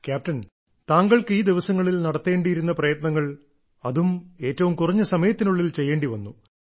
captain താങ്കൾക്ക് ഈ ദിവസങ്ങളിൽ നടത്തേണ്ടിയിരുന്ന പ്രയത്നങ്ങൾ അതും ഏറ്റവും കുറഞ്ഞ സമയത്തിനുള്ളിൽ ചെയ്യേണ്ടിവന്നു